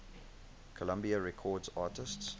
columbia records artists